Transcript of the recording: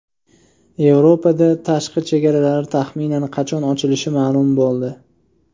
Yevropa tashqi chegaralari taxminan qachon ochilishi ma’lum bo‘ldi.